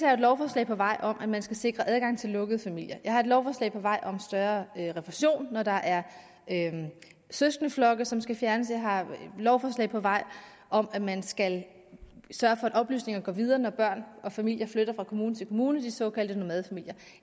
har et lovforslag på vej om at man skal sikre adgang til lukkede familier jeg har et lovforslag på vej om større refusion når der er søskendeflokke som skal fjernes jeg har et lovforslag på vej om at man skal sørge for at oplysninger går videre når børn og familier flytter fra kommune til kommune de såkaldte nomadefamilier